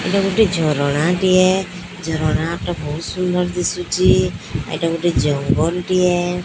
ଏଟା ଗୁଟେ ଝରଣାଟିଏ ଝରଣାଟି ବହୁତ ସୁନ୍ଦର ଦିଶୁଛି ଏଟା ଗୁଟେ ଜଙ୍ଗଲ ଟିଏ --